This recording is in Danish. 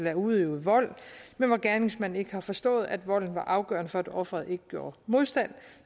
er udøvet vold men hvor gerningsmanden ikke har forstået at volden var afgørende for at ofret ikke gjorde modstand